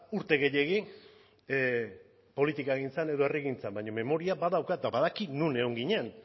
urte gehiegi politikagintzan edo herrigintza baina memoria badaukat eta badaki non egon ginen